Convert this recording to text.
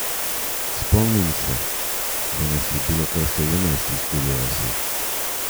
Spomnim se, da nas je bilo kar sedemnajst iz Kurje vasi.